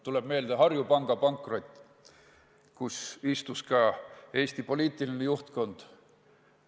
Tuleb meelde Harju Panga pankrot, selle panga nõukogudes ja juhatustes istus ka Eesti poliitiline juhtkond.